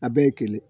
A bɛɛ ye kelen